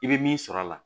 I bɛ min sɔrɔ a la